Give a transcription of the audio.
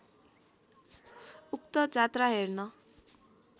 उक्त जात्रा हेर्न